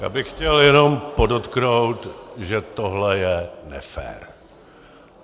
Já bych chtěl jenom podotknout, že tohle je nefér.